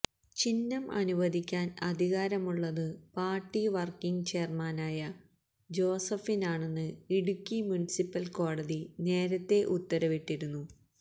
ചിഹ്നം അനുവദിക്കാൻ അധികാരമുള്ളത് പാർട്ടി വർക്കിങ് ചെയർമാനായ ജോസഫിനാണെന്ന് ഇടുക്കി മുനിസിപ്പൽ കോടതി നേരത്തേ ഉത്തരവിട്ടിരുന്നു